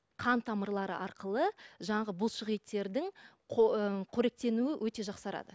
қан тамырлары арқылы жанағы бұлшық еттердің ы қоректенуі өте жақсарады